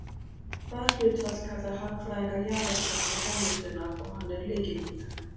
það hlutfall kalla hagfræðingar jaðarkostnað framleiðslunnar og hann er lykilhugtak